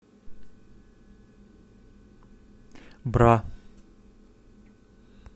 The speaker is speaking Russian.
бра